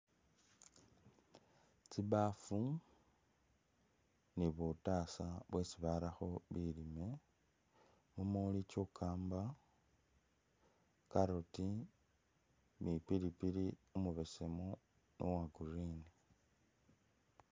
Tsibaafu ni burasa byesi barakho bilimwa mumuli chukamba, carrot ni pilipili umubesemu ni uwa green.